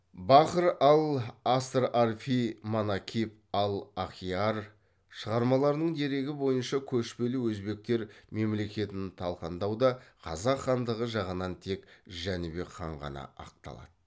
бахр ал асрарфи манакиб ал ахиар шығармаларының дерегі бойынша көшпелі өзбектер мемлекетін талқандауда қазақ хандығы жағынан тек жәнібек хан ғана ақталады